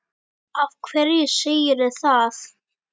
Af hverju segirðu það?